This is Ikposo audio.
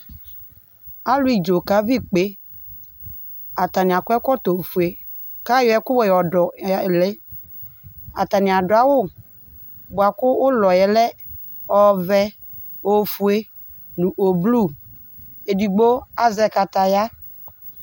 Alʋ idzo kaʋi ikpe Atani ak'ɛkɔtɔ fue k'ayɔ ɛku wɛ yɔ dʋ ya li Atani adʋ awʋ bua kʋ ʋlɔ yɛ lɛ ɔvɛ, ofue nʋ oblu Edigbo azɛ kataya